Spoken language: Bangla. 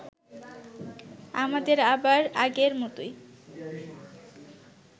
আমাদের আবার আগের মতোই